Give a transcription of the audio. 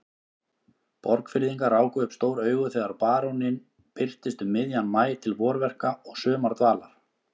Borgfirðingar ráku upp stór augu þegar baróninn birtist um miðjan maí til vorverka og sumardvalar.